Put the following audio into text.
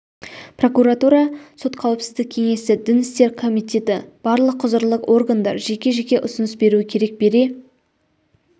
прокуратура сот қауіпсіздік кеңесі дін істер комитеті барлық құзырлы органдар жеке-жеке ұсыныс беруі керек бере